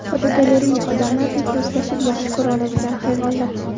Fotogalereya: Odamlardek do‘stlashib, yaxshi ko‘ra oladigan hayvonlar.